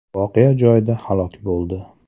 voqea joyida halok bo‘ldi.